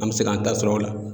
An bɛ se k'an ta sɔrɔ o la.